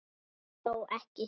Þó ekki?